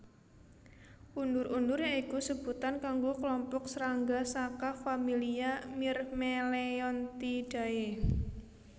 Undur undur ya iku sebutan kanggo klompok srangga saka familia Myrmeleontidae